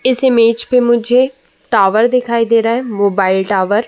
इस इमेज में मुझे टावर दिखाई दे रहा है। Mobile tower.